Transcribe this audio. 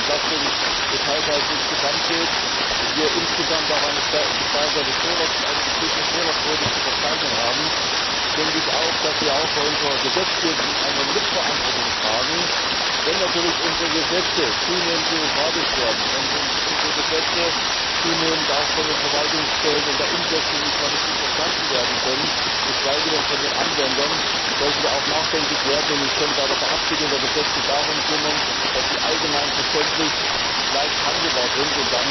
Wenn es um die Entlastung des Haushalts insgesamt geht und wir insgesamt auch eine gestiegene Fehlerquote zu verzeichnen haben, tragen wir auch bei unserer Gesetzgebung eine Mitverantwortung. Wenn natürlich unsere Gesetze zunehmend bürokratisch werden, wenn unsere Gesetze zunehmend auch von den Verwaltungsstellen in der Umsetzung nicht mehr richtig verstanden werden können geschweige denn von den Anwendern sollten wir nachdenklich werden und uns schon bei der Verabschiedung der Gesetze darum kümmern, dass sie allgemein verständlich und leicht handelbar sind.